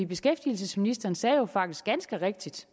beskæftigelsesministeren sagde faktisk ganske rigtigt